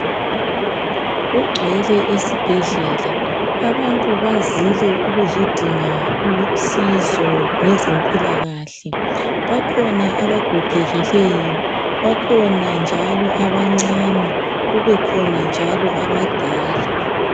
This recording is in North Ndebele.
Kugcwele esibhedlela. Abantu bazile ukuzodinga usizo ngezempilakahle. Bakhona abagogekileyo, bakhona njalo abancane kubekhona njalo abadala.